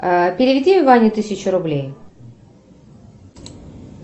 переведи ване тысячу рублей